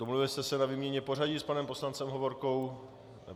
Domluvili jste se na výměně pořadí s panem poslancem Hovorkou?